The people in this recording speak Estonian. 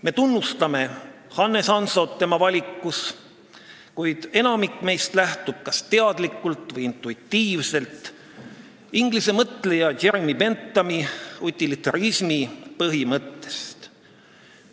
Me tunnustame Hannes Hansot tema valikus, kuid enamik meist lähtub kas teadlikult või intuitiivselt inglise mõtleja Jeremy Benthami utilitarismi põhimõttest.